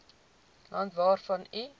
land waarvan u